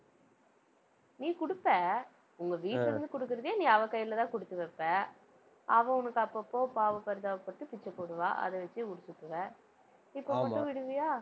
நீ குடுப்ப உங்க வீட்டுல இருந்து குடுக்கறதையே நீ அவ கையிலதான் குடுத்து வைப்ப அவ உனக்கு அப்பப்போ பாவ பரிதாபப்பட்டு பிச்சை போடுவா அதை வச்சு முடிச்சிக்குவ இப்ப மட்டும் விடுவியா?